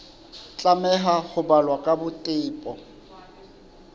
tlameha ho balwa ka botebo